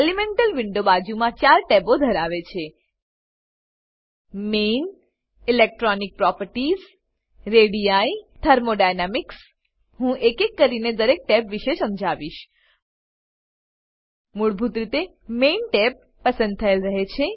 elemental window બાજુમાં ચાર ટેબો ધરાવે છે main electronic properties ready thermodynamics હું એકે એક કરીને દરેક ટેબ વિશે સમજાવીશ મૂળભૂત રીતે મેઇન ટેબ પસંદ થયેલ રહે છે